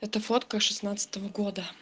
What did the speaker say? эта фотка шестнадцатого года